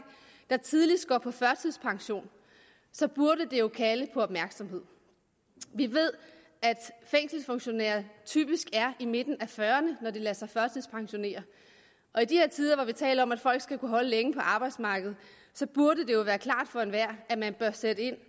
der tidligst går på førtidspension så burde det jo kalde på opmærksomhed vi ved at fængselsfunktionærer typisk er i midten af fyrrerne når de lader sig førtidspensionere og i de her tider hvor vi taler om at folk skal kunne holde længe på arbejdsmarkedet så burde det jo være klart for enhver at man bør sætte ind